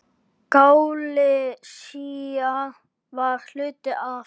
Galisía var hluti af